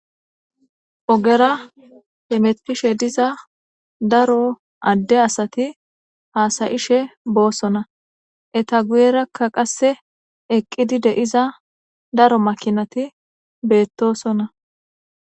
ogera hemetpishe diza daro adde asati haasayishe boossona eta guyerakka qasse eqqidi deiza daro makinati beettosonna